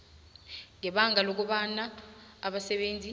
ngebanga lokobana abasebenzi